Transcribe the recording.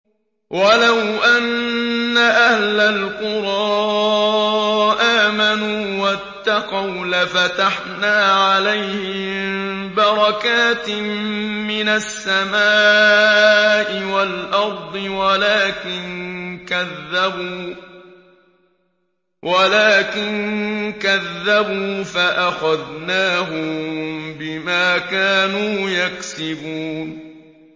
وَلَوْ أَنَّ أَهْلَ الْقُرَىٰ آمَنُوا وَاتَّقَوْا لَفَتَحْنَا عَلَيْهِم بَرَكَاتٍ مِّنَ السَّمَاءِ وَالْأَرْضِ وَلَٰكِن كَذَّبُوا فَأَخَذْنَاهُم بِمَا كَانُوا يَكْسِبُونَ